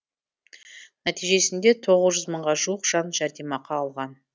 нәтижесінде тоғыз жүз мыңға жуық жан жәрдемақы алған